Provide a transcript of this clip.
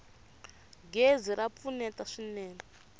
gezi ra pfuneta swinene